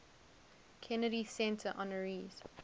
kennedy center honorees